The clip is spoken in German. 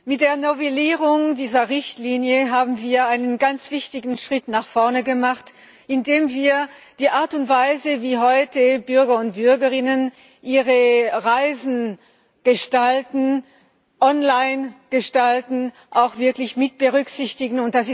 Mit der Novellierung dieser Richtlinie haben wir einen ganz wichtigen Schritt nach vorn gemacht, indem wir die Art und Weise, wie heute Bürger und Bürgerinnen ihre Reisen gestalten, online gestalten, auch wirklich mit berücksichtigen.